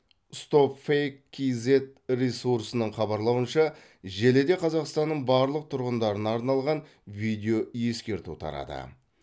стопфейк кэйзэт ресурсының хабарлауынша желіде қазақстанның барлық тұрғындарына арналған видеоескерту тарады